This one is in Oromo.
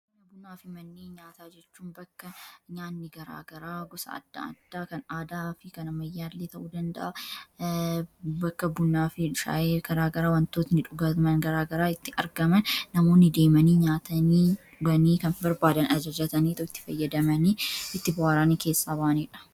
Manni bunnaa fi manni nyaata jechuun bakka nyaanni garaagaraa gosa adda'addaa kan aadaa fi kana mayyaallii ta'uu dandaa bakka bunnaafi shaa'eer garaagaraa wantootni dhugaman garaagaraa itti argaman namoonni deemanii nyaatanii dganii kanfi barbaadan azojatanii tooti fayyadamanii itti bawaraani keessaa ba'aniidha